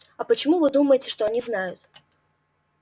а почему вы думаете что они знают